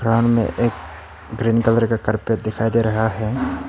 सामने एक green colour का कारपेट दिखाई दे रहा है।